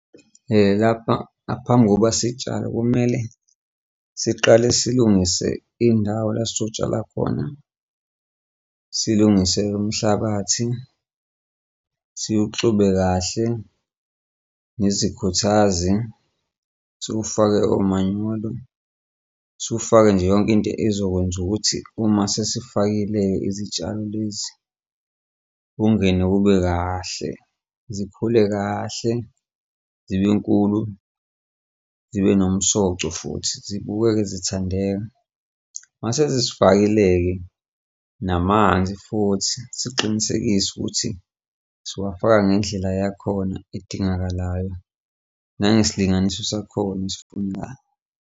Lapha ngaphambi kokuba sitshale kumele siqale silungise indawo la sotshala khona, silungise umhlabathi siwuxube kahle nezikhuthazi siwufake omanyolo siwufake nje yonke into ezokwenza ukuthi uma sesifakile izitshalo lezi ungene kube kahle, zikhule kahle zibe nkulu zibe nomsoco futhi zibukeke zithandeka. Uma sesizifakile-ke namanzi futhi siqinisekise ukuthi siwafaka ngendlela yakhona edingakalayo nangesilinganise sakhona esifunekayo.